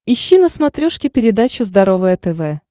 ищи на смотрешке передачу здоровое тв